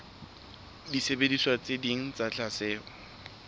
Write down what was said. disebediswa tse ding tsa tlatsetso